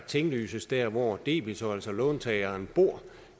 tinglyses der hvor debitor altså låntageren bor